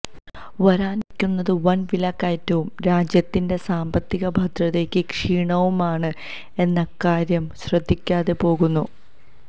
വരാനിരിക്കുന്നത് വൻ വിലക്കയറ്റവും രാജ്യത്തിന്റെ സാമ്പത്തിക ഭദ്രയ്ക്ക് ക്ഷീണവുമാണ് എന്ന കാര്യം ശ്രദ്ധിക്കാതെ പോകുന്നു